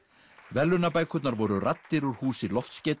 verðlaunabækurnar voru raddir úr húsi